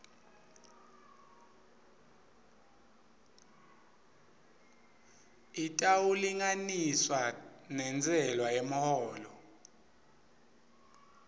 itawulinganiswa nentsela yemholo